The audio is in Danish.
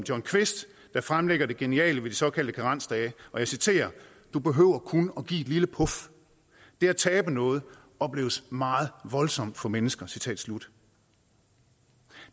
jon kvist der fremlægger det geniale ved de såkaldte karensdage og jeg citerer du behøver kun at give et lille puf det at tabe noget opleves meget voldsomt for mennesker citat slut